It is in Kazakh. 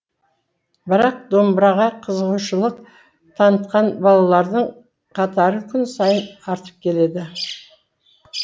бірақ домбыраға қызығушылық танытқан балалардың қатары күн сайын артып келеді